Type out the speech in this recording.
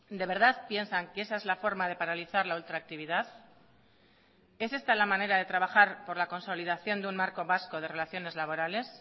de verdad piensan que esa es la forma de paralizar la ultractividad es esta la manera de trabajar por la consolidación de un marco vasco de relaciones laborales